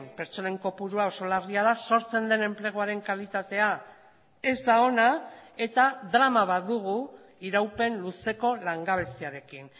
pertsonen kopurua oso larria da sortzen den enpleguaren kalitatea ez da ona eta drama bat dugu iraupen luzeko langabeziarekin